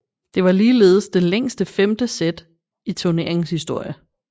Det var ligeledes det længste femte sæt i turneringens historie